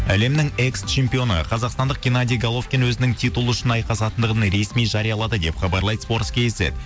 әлемнің экс чемпионы қазақстандық генадий головкин өзінің титулы үшін айқасатындығын ресми жариялады деп хабарлайды спорт кизет